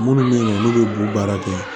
Minnu bɛ yen olu bɛ b'u baara kɛ